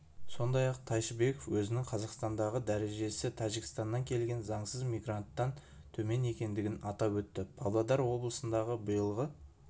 сондай-ақ тайшыбеков өзінің қазақстандағы дәрежесі тәжікстаннан келген заңсыз мигранттан төмен екендігін атап өтті павлодар облысындағы биылғы